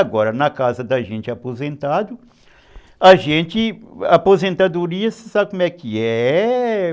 Agora, na casa da gente aposentado, a gente... Aposentadoria, você sabe como é que é?